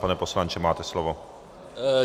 Pane poslanče, máte slovo.